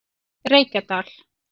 Reykjadal